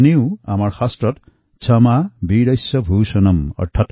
ইফালে আমাৰ শাস্ত্ৰত আছে যে ক্ষমা বীৰস্য ভূষণম অৰ্থাৎ ক্ষমা বীৰৰ ভূষণ